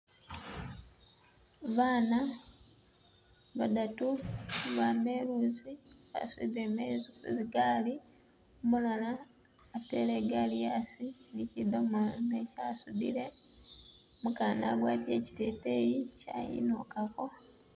Bana badatu bama eluzi basudile mezi ku zi gaali, umulala atele igaali asi ni kidomola mwesi asudile, umukana agwatile kiteteyi kyayinukako.